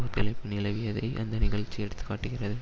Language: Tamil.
ஒத்துழைப்பு நிலவியதை அந்த நிகழ்ச்சி எடுத்து காட்டுகிறது